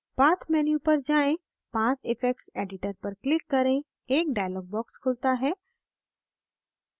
path menu पर जाएँ path effects editor पर click करें एक dialog box खुलता है